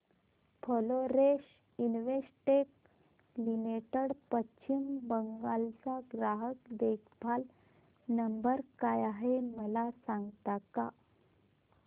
Florence Investec limited Paschim Bangal चा ग्राहक देखभाल नंबर काय आहे मला सांगता का